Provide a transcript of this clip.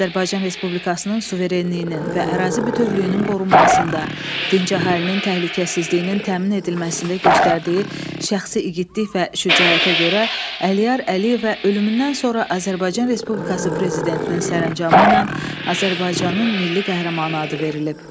Azərbaycan Respublikasının suverenliyinin və ərazi bütövlüyünün qorunmasında, dinc əhalinin təhlükəsizliyinin təmin edilməsində göstərdiyi şəxsi igidlik və şücaətə görə Əliyar Əliyevə ölümündən sonra Azərbaycan Respublikası Prezidentinin sərəncamı ilə Azərbaycanın milli qəhrəmanı adı verilib.